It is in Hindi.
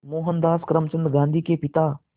मोहनदास करमचंद गांधी के पिता